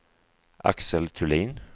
Axel Thulin